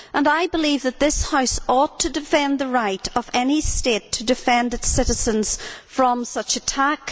I believe that this House ought to defend the right of any state to defend its citizens from such attack.